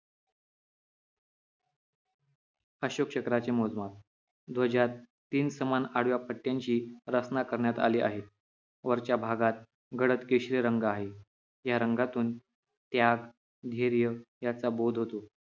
अशोक चक्राचे मोजमाप ध्वजात तीन समान आडव्या पट्ट्यांची रचना करण्यात आली आहे वरच्या भागात गडद केशरी रंग आहे या रंगातून त्याग धैर्य याचा बोध होतो